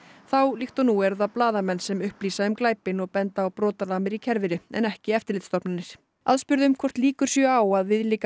þá líkt og nú eru það blaðamenn sem upplýsa um glæpinn og benda á brotalamir í kerfinu en ekki eftirlitsstofnanir aðspurð um hvort líkur séu á að viðlíka